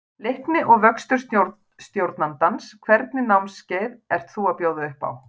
Leikni og vöxtur stjórnandans Hvernig námskeið ert þú að bjóða upp á?